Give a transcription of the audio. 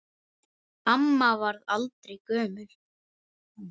Amma varð aldrei gömul.